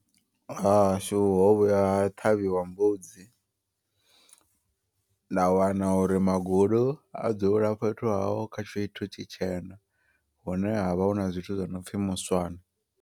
Hahashu ho vhuya ha ṱhavhiwa mbudzi. Nda wana uri magulu a dzula fhethu haho kha tshithu tshitshena. Hune havha huna zwithu zwinopfhi muswane.